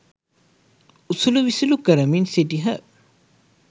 උසුළු විසුළු කරමින් සිටියහ